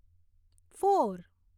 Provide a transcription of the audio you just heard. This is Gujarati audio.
ફોર